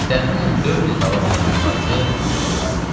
Təxminən dörd il davam edən müharibə belə qurtardı.